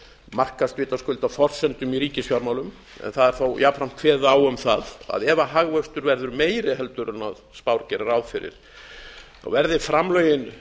markast vitaskuld af forsendum í ríkisfjármálum en það er þó jafnframt kveðið á um það að ef hagvöxtur verði meiri heldur en spár gera ráð fyrir þá verði framlögin